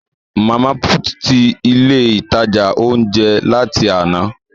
Mama put tí ilé ìtajà ounjẹ láti àna